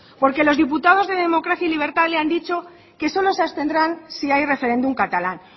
porque los diputados de democracia y libertad le han dicho que solo se abstendrán si hay referéndum catalán